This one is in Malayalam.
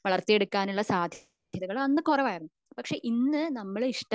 വളർത്തി എടുക്കാനുള്ള സാദ്ധ്യതകൾ അന്ന് കുറവായിരുന്നു പക്ഷെ ഇന്ന് നമ്മൾ